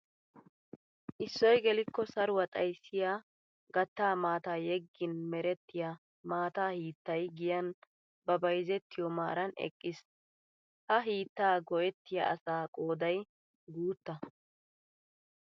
Isoy gelikko saruwa xayssiya gatta maataa yeggin merettiya maata hiittay giyan ba bayzettiyo maaran eqqiis. Ha hiittaa go'ettiya asaa qooday guuttaa.